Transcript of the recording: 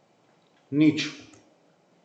Nič.